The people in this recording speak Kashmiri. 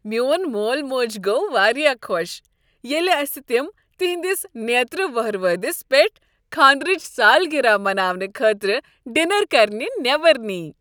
میٚون مول موج گوٚو واریاہ خوش ییٚلہ اسہ تم تہنٛدِس نیترٕ ووہروٲدِس پیٹھ خانٛدرٕچ سالگرہ مناونہٕ خٲطرٕ ڈنر کرنہ نیبر نیہ۔